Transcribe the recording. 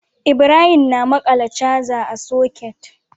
Ibrahim na maƙala charger a socket